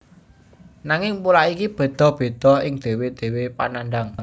Nanging pola iki bedha bedha ing dhewe dhewe panandhang